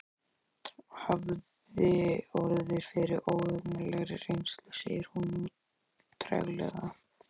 Hafði orðið fyrir óhugnanlegri reynslu, segir hún nú treglega.